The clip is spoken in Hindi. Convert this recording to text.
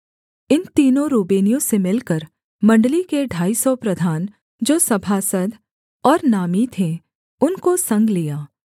इन तीनों रूबेनियों से मिलकर मण्डली के ढाई सौ प्रधान जो सभासद और नामी थे उनको संग लिया